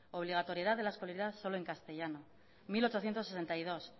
obligatoriedad de la escolaridad solo en castellano mil ochocientos sesenta y dos